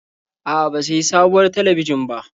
A'a, ba sayi sabuwar talabijin ba.